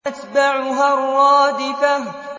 تَتْبَعُهَا الرَّادِفَةُ